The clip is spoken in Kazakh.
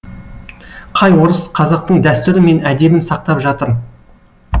қай орыс қазақтың дәстүрі мен әдебін сақтап жатыр